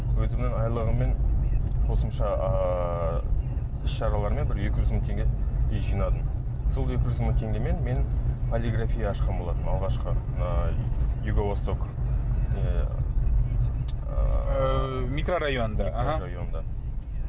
өзімнің айлығыммен қосымша ыыы іс шаралармен бір екі жүз мың теңгедей жинадым сол екі жүз мың теңгемен мен полиграфия ашқан болатынмын алғашқы ыыы юго восток ыыы микрорайонында аха